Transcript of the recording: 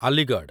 Aligarh